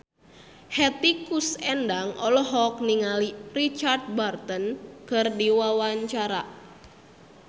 Hetty Koes Endang olohok ningali Richard Burton keur diwawancara